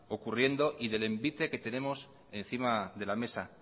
ocurriendo y del envite que tenemos encima de la mesa